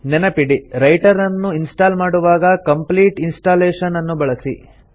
ನೆನಪಿಡಿ ರೈಟರನ್ನು ಇನ್ಸ್ಟಾಲ್ ಮಾಡುವಾಗ ಕಂಪ್ಲೀಟ್ ಇನ್ಸ್ಟಾಲೇಷನ್ ಅನ್ನು ಬಳಸಿ